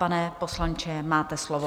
Pane poslanče, máte slovo.